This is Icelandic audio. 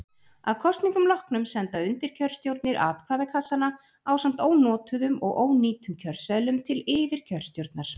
Að kosningum loknum senda undirkjörstjórnir atkvæðakassana ásamt ónotuðum og ónýtum kjörseðlum til yfirkjörstjórnar.